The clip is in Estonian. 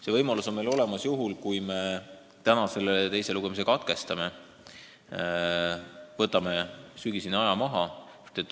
See võimalus on meil olemas juhul, kui me täna selle teise lugemise katkestame, võtame sügiseni aja maha.